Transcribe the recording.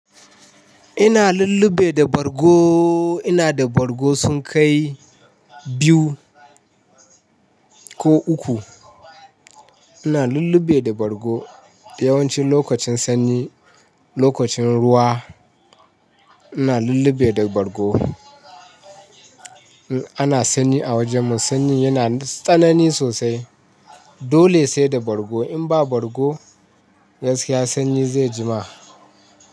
Ina lullube da bargo, ina da bargo sunkai biyu ko uku. Ina lulluɓe da bargo yawanci lokacin sanyi, lokacin ruwa ina lulluɓe da bargo. Ana sanyi a wajenmu, sanyin yanada tsanani sosai dole saida bargo. In ba bargo gaskiya sanyi zai jima.